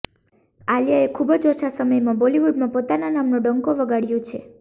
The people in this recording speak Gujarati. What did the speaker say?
આલિયાએ ખુબ જ ઓછા સમયમાં બોલિવૂડમાં પોતાના નામનો ડંકો વગાડ્યો છે